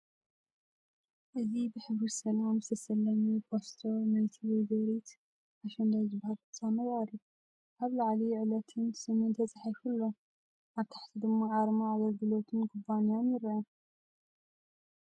እዚ ብሕብሪ ሰላም ዝተሰለመ ፖስተር ናይቲ ‘ወይዘሪት ኣሸንዳ’ ዝበሃል ፍጻመ ይቐርብ። ኣብ ላዕሊ ዕለትን ስምን ተጻሒፉ ኣሎ፡ ኣብ ታሕቲ ድማ ኣርማ ኣገልግሎትን ኩባንያን ይርአ።